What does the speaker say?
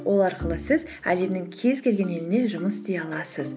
ол арқылы сіз әлемнің кез келген еліне жұмыс істей аласыз